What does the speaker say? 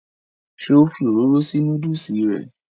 ṣé ó fi òróró sí núdùsì rẹ̀?